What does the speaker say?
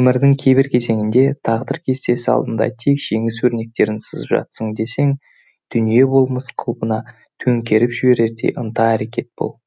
өмірдің қайбір кезеңінде тағдыр кестесі алдыңда тек жеңіс өрнектерін сызып жатсын десең дүние болмыс қалыбын төңкеріп жіберердей ынта әрекет бол